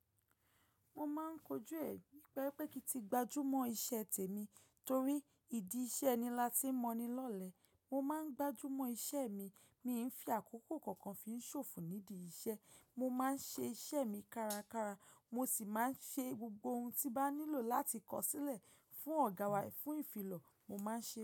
Mo máa ń kojú ẹ̀ nípa pé kí ti gbájúmọ́ iṣẹ́ tèmi torí ìdí iṣẹ́ ni lati mọ ni lọ́lẹ. Mo máa ń gbájúmọ́ iṣẹ́ mi, mi ń fi àkókò kọ̀ọ̀kan fi ń ṣòfò nídi iṣẹ́. Mo máa ń ṣe iṣẹ́ mi kárakára mo sì máa ń ṣe gbogbo ohun tí bá nílò láti kọ sílẹ̀ fún ọ̀gá wa fún ìfilọ̀, mo máa ń ṣe é.